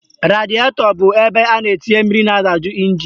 Radietọ bụ ebe a na-etinye mmiri na-adaju ịnjin